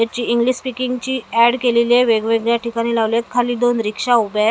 याची English speaking ची ad केलेली आहे वेगवेगळ्या ठिकाणी लावले आहेत खाली दोन रिक्षा उभ्या आहेत.